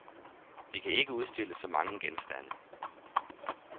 Vi kan ikke udstille så mange genstande.